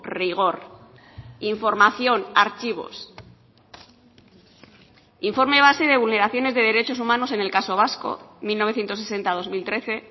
rigor información archivos informe base de vulneraciones de derechos humanos en el caso vasco mil novecientos sesenta dos mil trece